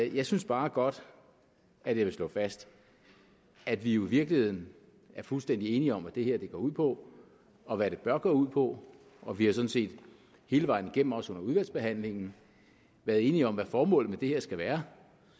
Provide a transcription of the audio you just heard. jeg synes bare godt jeg vil slå fast at vi jo i virkeligheden er fuldstændig enige om hvad det her går ud på og hvad det bør gå ud på og vi har sådan set hele vejen igennem også under udvalgsbehandlingen været enige om hvad formålet med det her skal være